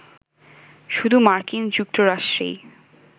শুধু মার্কিন যুক্তরাষ্ট্রেই